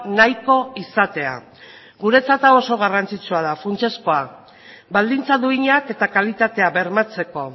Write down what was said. nahiko izatea guretzat hau oso garrantzitsua da funtsezkoa baldintza duinak eta kalitatea bermatzeko